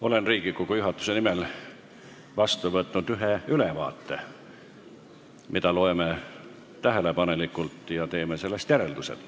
Olen Riigikogu juhatuse nimel vastu võtnud ühe ülevaate, mida loeme tähelepanelikult ja millest teeme järeldused.